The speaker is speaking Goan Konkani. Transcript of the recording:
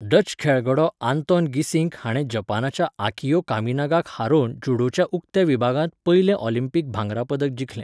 डच खेळगडो आंतोन गीसिंक हाणें जपानाच्या आकियो कामिनागाक हारोवन जूडोच्या उक्त्या विभागांत पयलें ऑलिंपिक भांगरा पदक जिखलें.